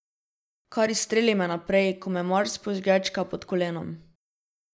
Kar izstreli me naprej, ko me Mars požgečka pod kolenom.